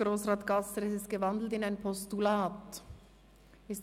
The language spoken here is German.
Grossrat Gasser hat die Motion in ein Postulat umgewandelt.